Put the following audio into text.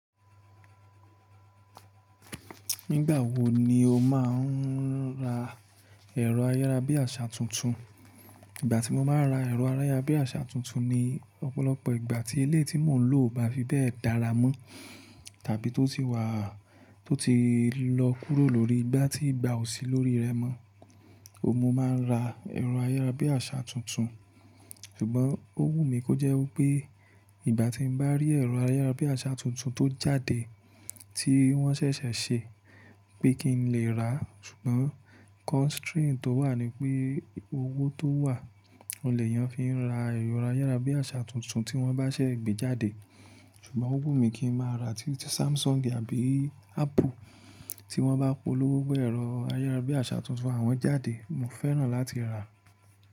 Nígbà wo ni o máa ń ra ẹ̀rọ ayárabíàṣá tuntun? Ìgbà tí mo máa ra ẹ̀rọ ayárabíàṣá tuntun ni ọ̀pọ̀lọpọ̀ ìgbà tí eléyi tí mò ń lò ò bá fi bẹ́ẹ̀ dára mọ́ tàbí tó ti wà, tó ti lọ́ kúrò lórí, ìgbà tí ìgbà ò sí lórí rẹ̀ mọ́, mo máa ra ẹ̀rọ ayárabíàṣá tuntun. Ṣùgbọ́n ó wù mí kó jẹ́ wí pé ìgbà tí n bá rí ẹ̀rọ ayárabíàṣá tuntun tó jáde tí wọ́n ṣẹ̀ṣẹ̀ ṣe pé kí n lè rà, ṣùgbọ́n constraint tó wà ni pé owó tó wà, oun lè yan fi ra ẹ̀rọ ayárabíàṣá tuntun tí wọ́n bá ṣẹ́ gbé jáde. Ṣùgbọ́n ó wù mí kí n máa rà tí Samsung àbí Apple tí wọ́n bá polówó bẹ́ẹ̀ rọ̀ ayárabíàṣá tuntun àwọn jáde, mo fẹ́ràn láti rà.